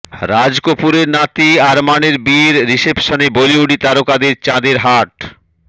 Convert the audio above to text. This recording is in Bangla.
রাজ কপূরের নাতি আরমানের বিয়ের রিসেপশনে বলিউডি তারকাদের চাঁদের হাট